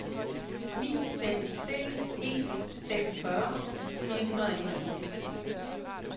ni fem seks en seksogfyrre fire hundrede og enogfirs